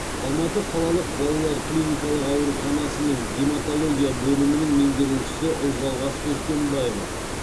алматы қалалық балалар клиникалық ауруханасының гематология бөлімінің меңгерушісі ұлжалғас өскенбаева